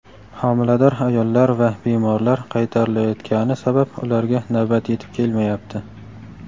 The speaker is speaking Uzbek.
homilador ayollar va bemorlar qaytarilayotgani sabab ularga navbat yetib kelmayapti.